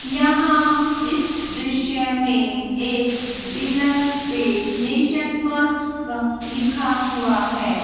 यहाँ इस दृश्य मैं एक पिलर पे नेशन फर्स्ट क लिखा हुआ है।